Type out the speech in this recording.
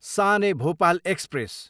San e Bhopal express